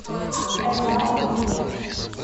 эдуард викторович